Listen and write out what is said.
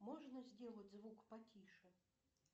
можно сделать звук потише